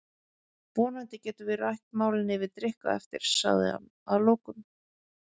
Vonandi getum við rætt málin yfir drykk á eftir, sagði hann að lokum.